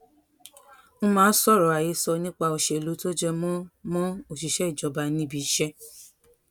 n máa sọrọ àhesọ nípa òṣèlú tó jẹ mọ mọ òṣìṣẹ ìjọba níbi iṣẹ